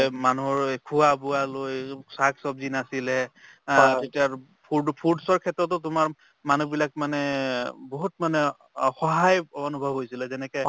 মানুহৰ এই খোৱা-বোৱালৈ shak ছব্জি নাছিলে food~ foods ৰ ক্ষেত্ৰতো তোমাৰ মানুহবিলাক মানে বহুত মানে অসহায় অনুভৱ হৈছিলে যেনেকে